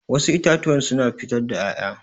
Wassu itatuwan suna fitar da ƴaƴa